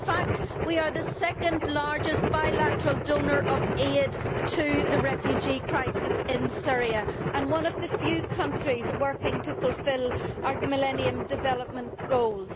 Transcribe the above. In fact, we are the second largest bilateral donor of aid to the refugee crisis in Syria and one of the few countries working to fulfil our Millennium Development Goals.